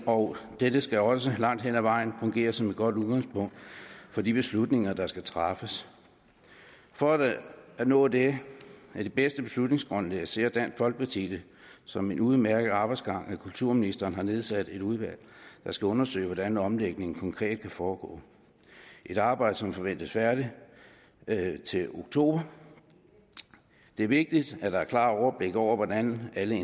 og denne skal også langt hen ad vejen fungere som et godt udgangspunkt for de beslutninger der skal træffes for at nå det bedste beslutningsgrundlag ser dansk folkeparti det som en udmærket arbejdsgang at kulturministeren har nedsat et udvalg der skal undersøge hvordan omlægningen konkret kan foregå et arbejde som forventes færdigt til oktober det er vigtigt at der er klart overblik over hvordan alle